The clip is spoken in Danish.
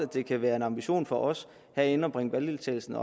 kan være en ambition for os herinde at bringe valgdeltagelsen